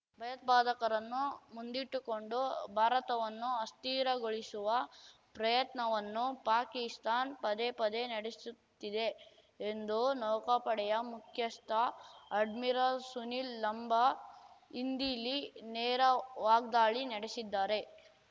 ಭಯೋತ್ಪಾದಕರನ್ನು ಮುಂದಿಟ್ಟುಕೊಂಡು ಭಾರತವನ್ನು ಅಸ್ಥಿರಗೊಳಿಸುವ ಪ್ರಯತ್ನವನ್ನು ಪಾಕಿಸ್ತಾನ್ ಪದೇಪದೇ ನಡೆಸುತ್ತಿದೆ ಎಂದು ನೌಕಾಪಡೆಯ ಮುಖ್ಯಸ್ಥ ಅಡ್ಮಿರಲ್ ಸುನಿಲ್ ಲಂಬಾ ಇಂದಿಲ್ಲಿ ನೇರ ವಾಗ್ದಾಳಿ ನಡೆಸಿದ್ದಾರೆ